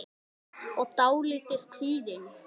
og dálítið kvíðin.